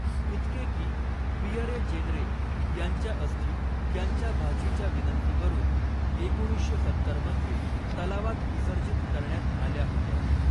इतके की, Pierre Jeanneret यांच्या अस्थी त्यांच्या भाचीच्या विनंतीवरून एकोणीसशे सत्तर मध्ये तलावात विसर्जित करण्यात आल्या होत्या.